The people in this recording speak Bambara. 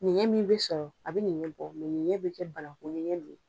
Ɲɛnɛn min be sɔrɔ a be ɲɛnɲɛnbɔ mɛ ɲɛnɲɛn be kɛ bananku ɲɛnɲɛn de ye